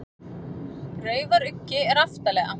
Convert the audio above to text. Raufaruggi er aftarlega.